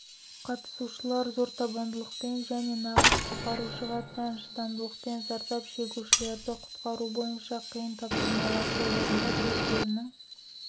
қатысушылар зор табандылықпен және нағыз құтқарушыға тән шыдамдылықпен зардап шегушілерді құтқару бойынша қиын тапсырмаларды орындап өздерінің